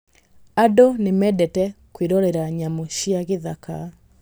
Andũ nĩ mendete kwĩrorera nyamũ cia gĩthaka.